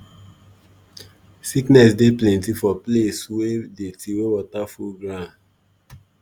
sickness dey plenty for place wey dirty wey water full ground